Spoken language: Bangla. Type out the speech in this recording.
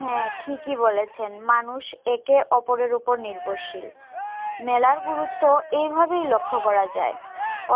হ্যাঁ ঠিকই বলেছেন মানুষ একে ওপরের উপর নির্ভরশীল মেলার গুরুত্ব এইভাবেই লক্ষ্য করা যায়